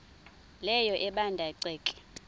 leyo ebanda ceke